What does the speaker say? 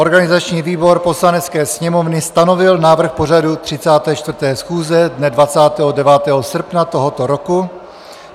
Organizační výbor Poslanecké sněmovny stanovil návrh pořadu 34. schůze dne 29. srpna tohoto roku.